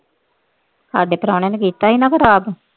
ਸਾਡੇ ਪ੍ਰਾਹੁਣੇ ਨੇ ਕੀਤਾ ਸੀ ਨਾ ਖਰਾਬ।